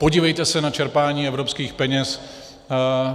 Podívejte se na čerpání evropských peněz.